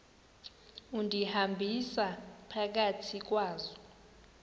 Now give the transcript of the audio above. undihambisa phakathi kwazo